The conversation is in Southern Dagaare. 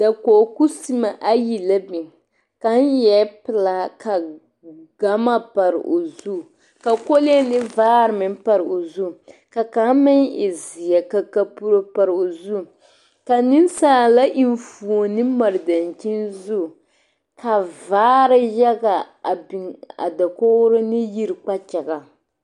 Dakogi kuseme ayi la biŋ kaŋa eɛ pelaa ka gama pare o zu ka kolee ne vaare meŋ pare o zu ka kaŋa meŋ e zeɛ ka kapuro pare o zu ka nensaala enfuoni mare daŋkyine zu ka vaare yaŋa a biŋ a dakogro ne yiri kpakyaŋaŋ